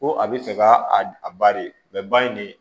Ko a bɛ fɛ ka a ba de ba in de